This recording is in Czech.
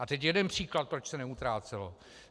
A teď jeden příklad, proč se neutrácelo.